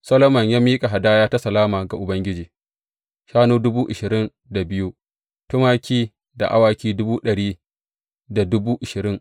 Solomon ya miƙa hadaya ta salama ga Ubangiji, shanu dubu ashirin da biyu, tumaki da awaki dubu ɗari da dubu ashirin.